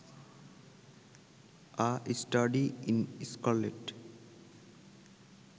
a study in scarlet